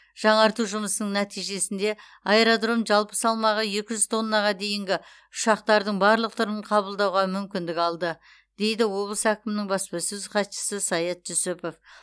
жаңарту жұмыстарының нәтижесінде аэродром жалпы салмағы екі жүз тоннаға дейінгі ұшақтардың барлық түрін қабылдауға мүмкіндік алды дейді облыс әкімінің баспасөз хатшысы саят жүсіпов